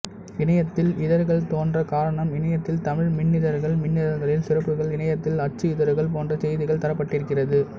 இணையத்தில் இதழ்கள் தோன்றக் காரணம் இணையத்தில் தமிழ் மின்னிதழ்கள் மின்னிதழ்களின் சிறப்புகள் இணையத்தில் அச்சு இதழ்கள் போன்ற செய்திகள் தரப்பட்டிருக்கிறது